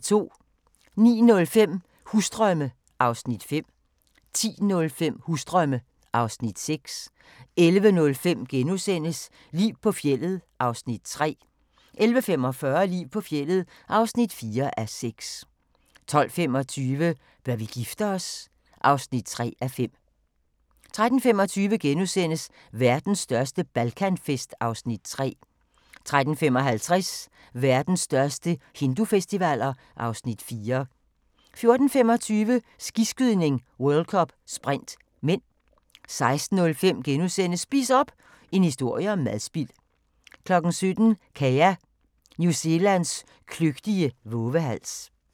09:05: Husdrømme (Afs. 5) 10:05: Husdrømme (Afs. 6) 11:05: Liv på fjeldet (3:6)* 11:45: Liv på fjeldet (4:6) 12:25: Bør vi gifte os? (3:5) 13:25: Verdens største Balkanfest (Afs. 3)* 13:55: Verdens største hindufestivaler (Afs. 4) 14:25: Skiskydning: World Cup - sprint (m) 16:05: Spis op! – en historie om madspild * 17:00: Kea – New Zelands kløgtige vovehals